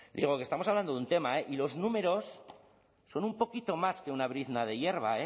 digo que estamos hablando de un tema eh y los números son un poquito más que una brizna de hierba